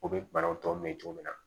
U bɛ banaw tɔ mɛn cogo min na